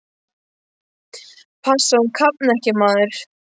Passaðu að hún kafni ekki, maður!